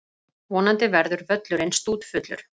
Vonandi verður völlurinn stútfullur.